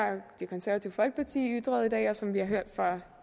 det konservative folkeparti har ytret i dag og som vi har hørt fra